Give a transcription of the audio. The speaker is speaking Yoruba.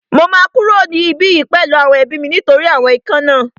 Mo máa kúrò ní ibí yìí pẹ̀lú àwọn ẹbí mi nítorí àwọn ikán náà